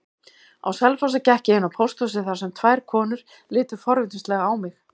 Á Selfossi gekk ég inn á pósthúsið þar sem tvær konur litu forvitnislega á mig.